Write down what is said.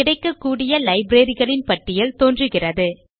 கிடைக்கக்கூடிய லைப்ரரி களின் பட்டியல் தோன்றுகிறது